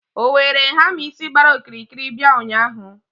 o were hamma isi gbara okirikiri bia ụnyahụ?